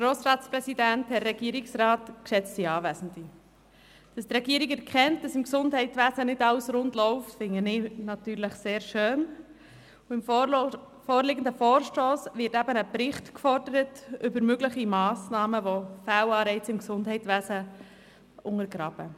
Dass die Regierung erkennt, dass im Gesundheitswesen nicht alles rund läuft, finde ich natürlich sehr schön, und im vorliegenden Vorstoss wird eben ein Bericht über mögliche Massnahmen gefordert, welche die Fehlanreize im Gesundheitswesen untergraben.